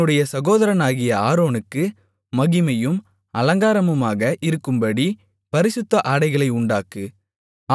உன்னுடைய சகோதரனாகிய ஆரோனுக்கு மகிமையும் அலங்காரமுமாக இருக்கும்படி பரிசுத்த ஆடைகளை உண்டாக்கு